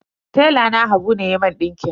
Tela na habu ne ya mun ɗinkin.